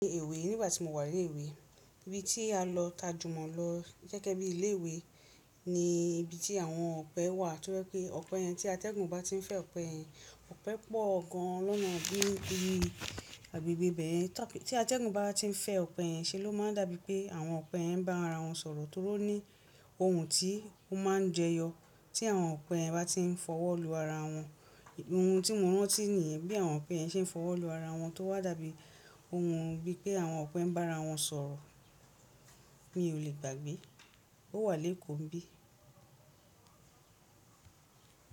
Ní èwe nígbà tí mo wà ní ilé ìwé, ibi tí a lọ tajù mó lọ gẹ́gẹ́ bí ilé ìwé ni ibi tí àwọn ọ̀pẹ wà, torí pé ọ̀pẹ yẹn tí atẹ́gùn bá ti ń fẹ́ ọ̀pẹ yẹn, ọ̀pẹ pọ̀ gan lọ́nà bí i agbègbè ibẹ́yẹn. Tí a tí atẹ́gùn bá ti ń fẹ́ ọ̀pẹ yẹn ṣe ló máa ń dàbí pé àwọn ọ̀pẹ yẹn ń bá ara wọn sọ̀rọ̀ torí ó ní ohùn ògún tí ó máa ń jẹyọ tí àwọn ọ̀pẹ yẹn bá ti ń fọwọ́ lu ara wọn. Ohun tí mo rántí nìyẹn bí àwọn ọ̀pẹ yẹn ṣe ń fọwọ́ lu ara wọn tó wà dàbí ohun bíi pé àwọn ọ̀pẹ ń bá ara wọn sọ̀rọ̀ mi ò lè gbàgbé. Ó wà lékòó ńbí.